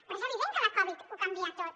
però és evident que la covid ho canvia tot